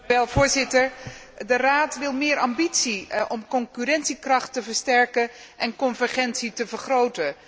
Voorzitter, de Raad wil meer ambitie om de concurrentiekracht te versterken en de convergentie te vergroten.